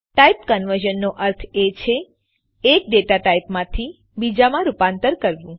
type conversion નો અર્થ છે એક ડેટા ટાઇપથી બીજામાં રૂપાંતર કરવું